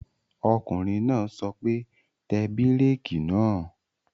Ọkùnrin náà sọ pé, Tẹ bírèkì náà!